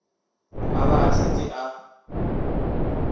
a ba a šetše a